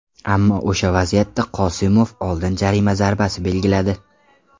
Ammo o‘sha vaziyatda Qosimov oldin jarima zarbasi belgiladi.